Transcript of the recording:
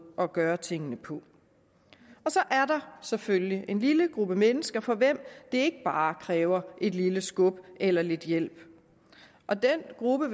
at gøre tingene på så er der selvfølgelig en lille gruppe mennesker for hvem det ikke bare kræver et lille skub eller lidt hjælp og den gruppe